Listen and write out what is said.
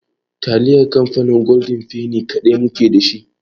Taliyar kamfanin golden feni kaɗai mu ke dashi.